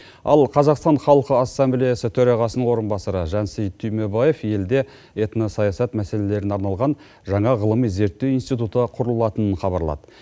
ал қазақстан халқы ассамблеясы төрағасының орынбасары жансейіт түймебаев елде этносаясат мәселелеріне арналған жаңа ғылыми зерттеу институты құрылатынын хабарлады